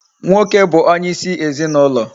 Nwoke bu onye isi ezinaulo